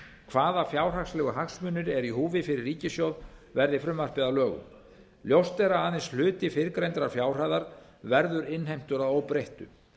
hvaða fjárhagslegu hagsmunir eru í húfi fyrir ríkissjóð verði frumvarpið að lögum ljóst er að aðeins hluti fyrrgreindrar fjárhæðar verður innheimtur að óbreyttu